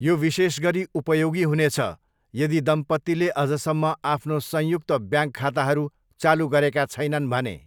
यो विशेष गरी उपयोगी हुनेछ यदि दम्पतीले अझसम्म आफ्नो संयुक्त ब्याङ्क खाताहरू चालु गरेका छैनन् भने।